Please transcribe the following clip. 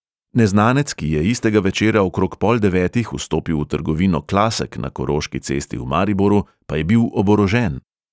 Neznanec, ki je istega večera okrog pol devetih vstopil v trgovino klasek na koroški cesti v mariboru, pa je bil oborožen.